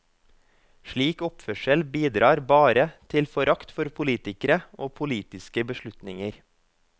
Slik oppførsel bidrar bare til forakt for politikere og politiske beslutninger.